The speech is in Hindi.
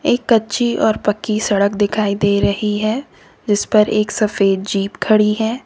एक कच्ची और पक्की सड़क दिखाई दे रही है जिस पर एक सफेद जीप खड़ी है।